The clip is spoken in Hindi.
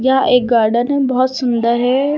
यह एक गार्डन है। बहोत सुंदर है।